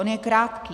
On je krátký.